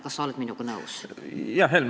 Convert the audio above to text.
Kas sa oled minuga nõus?